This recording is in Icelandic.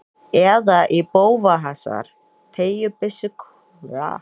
Eða í bófahasar, teygjubyssuskothríð og skylmingar.